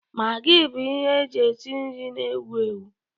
Magi bụ ihe eji esi nri na-ewu ewu.